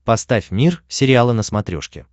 поставь мир сериала на смотрешке